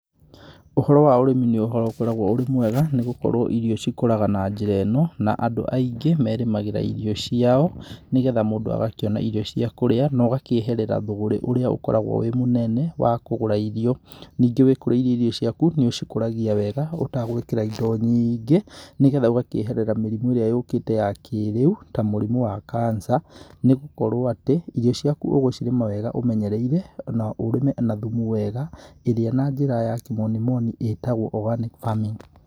Ũhoro wa ũrĩmi nĩ ũhoro ũkoragwo ũrĩ mwega, nĩ gũkorwo irio cikũraga na njĩra ĩno, na andũ aingĩ merĩmagĩra irio ciao nĩ getha mũndũ agakĩona irio cia kũrĩa na ũgakĩeherera thũgũrĩ ũrĩa ũkoragwo wĩ mũnene wa kũgũra irio. Ningĩ wĩkũrĩirie irio ciaku, nĩ ũcikũragia weega ũtagwĩkĩra indo nyiingĩ, nĩ getha ũgakĩeherera mĩrimũ ĩrĩa yũkĩte ya kĩrĩu ta mũrimũ wa Kanca nĩ gũkorwo atĩ, irio ciaku ũgũcirĩma wega ũmenyereire na ũrĩme na thumu wega ĩrĩa na njĩra ya kĩmonimoni ĩtagwo organic farming.